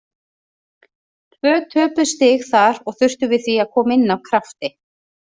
Tvö töpuð stig þar og þurftum því að koma inn af krafti.